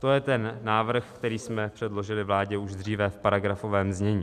To je ten návrh, který jsme předložili vládě už dříve v paragrafovém znění.